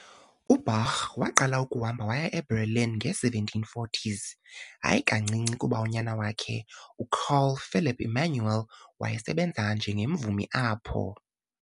U-Bach waqala ukuhamba waya eBerlin nge-1740s, hayi kancinci kuba unyana wakhe, uCarl Philipp Emanuel, wayesebenza njengemvumi apho.